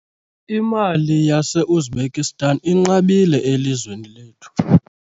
Imali yaseUzbekistan inqabile elizweni lethu.